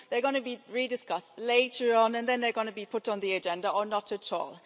they're going to be re discussed later on, and then they are going to be put on the agenda, or not at all.